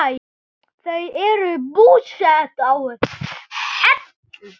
Þau eru búsett á Hellu.